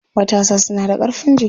Matasa suna da ƙarfin jiki.